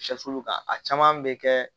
a caman bɛ kɛ